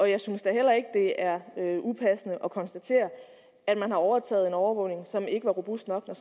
og jeg synes da heller ikke at det er upassende at konstatere at man har overtaget en overvågning som ikke var robust nok når